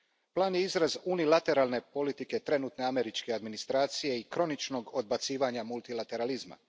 Plan je izraz unilateralne politike trenutne američke administracije i kroničnog odbacivanja multilateralizma.